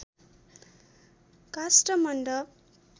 Kasthamandap